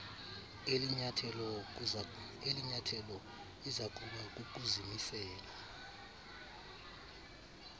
elinyathelo izakuba kukuzimisela